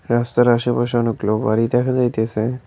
রাস্তার আশেপাশে অনেকগুলো বাড়ি দেখা যাইতেসে।